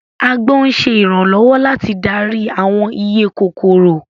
Agbọ́n ń ṣe ìrànlọ́wọ́ láti darí àwọn iye kòkòrò